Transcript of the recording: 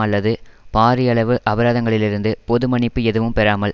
அல்லது பாரியளவு அபராதங்களிலிருந்து பொது மன்னிப்பு எதுவும் பெறாமல்